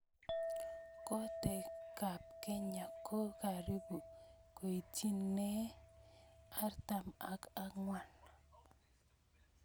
kotee kab kenya kokaribu koitineei artam ak angwan